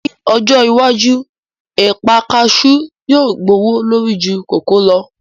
Ní ọjọ́ iwájú, ẹ̀pà kasú yóò gbówó lórí ju kòkó lọ